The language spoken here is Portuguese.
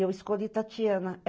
eu escolhi Tatiana.